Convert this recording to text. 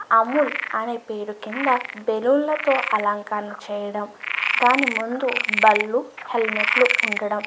అముల్ అనే పేరు కింద బెలూన్ల తో అలంకరణ చేయడము దాని ముందు బళ్ళు హెల్మెట్లు ఉండడము --